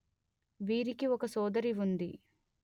వీరికి ఒక సోదరి ఉంది